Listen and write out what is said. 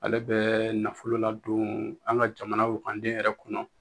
Ale bɛ nafolo ladon an ka jamana wagaden yɛrɛ kɔnɔ